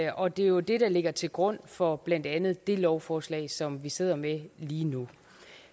og det er jo det der ligger til grund for blandt andet det lovforslag som vi sidder med lige nu